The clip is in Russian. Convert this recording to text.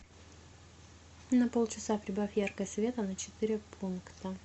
на полчаса прибавь яркость света на четыре пункта